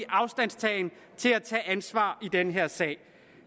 afstand til at tage ansvar i den her sag